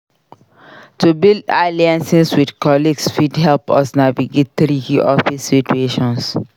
To build alliances with colleagues fit help us navigate tricky office situations.